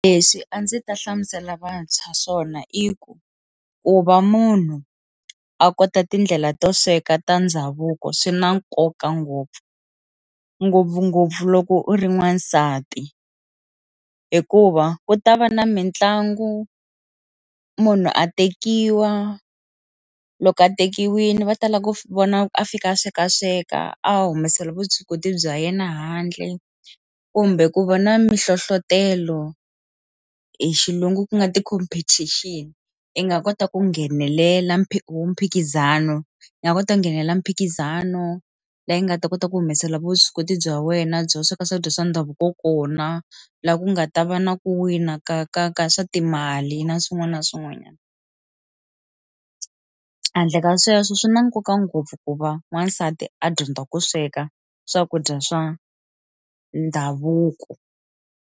Leswi a ndzi ta hlamusela vantshwa swona i ku, ku va munhu a kota tindlela to sweka ta ndhavuko swi na nkoka ngopfu ngopfungopfu loko u ri n'wasati hikuva ku ta va na mitlangu munhu a tekiwa loko a tekiwile va tala ku vona a fika a sweka sweka a humesela vuswikoti bya yena handle kumbe ku vona mi hlohlotelo hi xilungu ku nga competition i nga kota ku nghenelela mpiki mphikizano na kota nghenela mphikizano leyi nga ta kota ku humesela vuswikoti bya wena byo sweka swakudya swa ndhavuko kona laha ku nga ta va na ku wina ka ka ka swa timali na swin'wana na swin'wanyana handle ka sweswo swi na nkoka ngopfu ku va wansati a dyondza ku sweka swakudya swa ndhavuko.